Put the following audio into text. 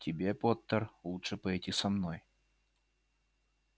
тебе поттер лучше пойти со мной